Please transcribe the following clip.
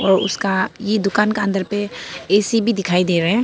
और उसका यह दुकान का अंदर पे ए_सी भी दिखाई दे रहा है।